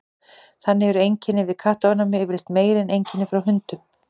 þannig eru einkenni við kattaofnæmi yfirleitt meiri en einkenni frá hundum